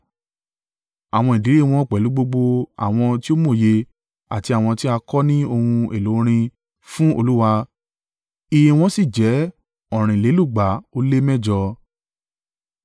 Àwọn ìdílé wọn pẹ̀lú gbogbo àwọn tí ó mòye àti àwọn tí a kọ́ ní ohun èlò orin fún Olúwa, iye wọn sì jẹ́ ọ̀rìnlélúgba ó lé mẹ́jọ (288).